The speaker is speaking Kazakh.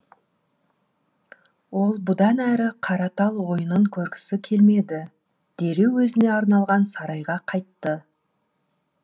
ол бұдан әрі қаратал ойынын көргісі келмеді дереу өзіне арналған сарайға қайтты